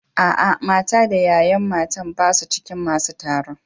A'a, mata da yayan mata ba su cikin masun taron.